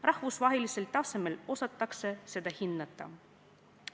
Rahvusvahelisel tasemel osatakse seda hinnata.